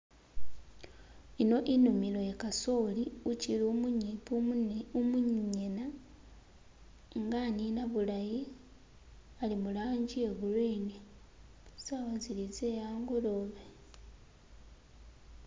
Ino inimilo ye kasooli ukyili umunyimpi umunyana, inga anina bulayi ali mu langi ye gurini, sawa zili ze h'angolobe